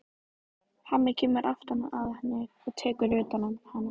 Hemmi kemur aftan að henni og tekur utan um hana.